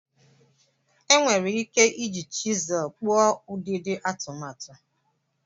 E nwere ike iji chisel kpụọ ụdịdị atụmatụ.